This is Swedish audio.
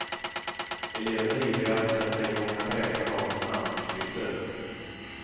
Eleverna är ivriga att sätta igång att räkna dagens namnunderskrifter.